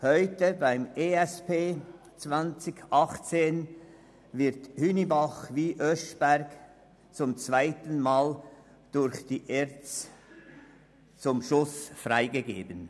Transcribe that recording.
Nun werden im Rahmen des EP 2018 beide Schulen durch die ERZ zum Abschuss freigegeben.